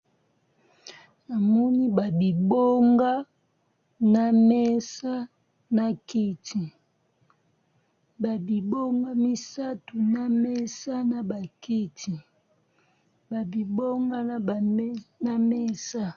Na moni ba bibonga, na mesa na kiti ba bibonga misato na mesa na bakiti, ba bibonga na mesa .